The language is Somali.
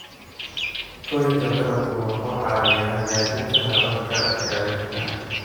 Koriinka dalaggu wuxuu caawiyaa hagaajinta hababka gaadiidka.